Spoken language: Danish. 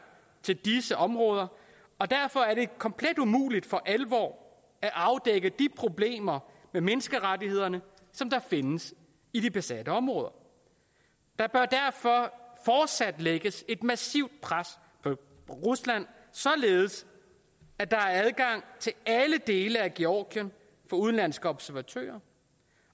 til disse områder og derfor er det komplet umuligt for alvor at afdække de problemer med menneskerettighederne der findes i de besatte områder der bør derfor fortsat lægges et massivt pres på rusland således at der er adgang til alle dele af georgien for udenlandske observatører